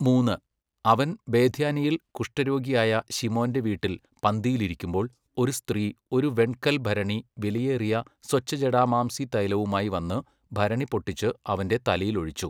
മൂന്ന്, അവൻ ബേഥാന്യയിൽ കുഷ്ഠരോഗിയായ ശിമോന്റെ വീട്ടിൽ പന്തിയിൽ ഇരിക്കുമ്പോൾ ഒരു സ്ത്രീ ഒരു വെൺകൽഭരണി വിലയേറിയ സ്വച്ഛജടാമാംസി തൈലവുമായി വന്നു ഭരണി പൊട്ടിച്ചു അവന്റെ തലയിൽ ഒഴിച്ചു.